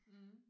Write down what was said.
Mh